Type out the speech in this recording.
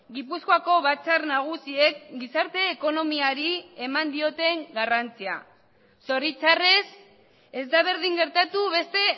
gipuzkoako batzar nagusiek gizarte ekonomiari eman dioten garrantzia zoritxarrez ez da berdin gertatu beste